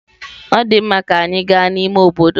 Ọ dị mma, ka anyị gaa n'ime obodo.